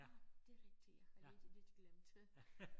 Ah det rigtigt jeg har rigtig lidt glemt det